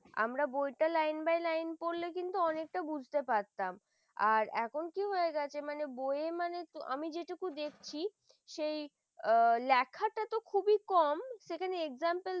আমরা বইটা line by line পড়লে কিন্তু অনেকটা বুঝতে পারতাম আর এখন কি হয়ে গেছে মানে বইয়ে মানে যেটুকু দেখছি সেই লেখাটা তো খুবই কম সেখানে example